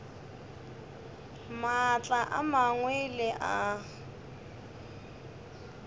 maatla a mangwe le a